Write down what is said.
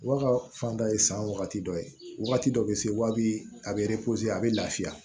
Wa ka fan dɔ ye san wagati dɔ ye wagati dɔ bɛ se wa bi a bɛ a bɛ lafiya